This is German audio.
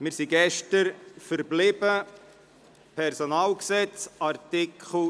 Wir sind gestern bei Artikel 57a des Personalgesetzes (PG) stehen geblieben.